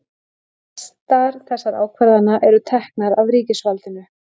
flestar þessara ákvarðana eru teknar af ríkisvaldinu